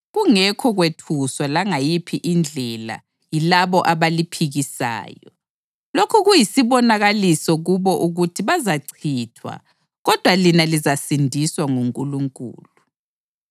kungekho kwethuswa langayiphi indlela yilabo abaliphikisayo. Lokhu kuyisibonakaliso kubo ukuthi bazachithwa, kodwa lina lizasindiswa nguNkulunkulu.